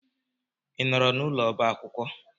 I nọọrọ n'ụlọ ọba akwụkwọ?